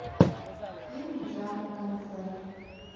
фильмы жанра концерт